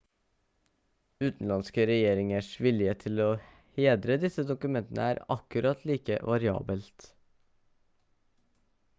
utenlandske regjeringers villighet til å hedre disse dokumentene er akkurat like variabelt